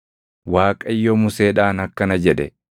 Waaqayyo Museedhaan akkana jedhe;